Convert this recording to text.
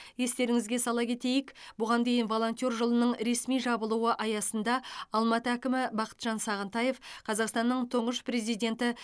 естеріңізге сала кетейік бұған дейін волонтер жылының ресми жабылуы аясында алматы әкімі бақытжан сағынтаев қазақстанның тұңғыш президенті